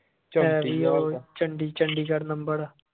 Chandigarh number ਆ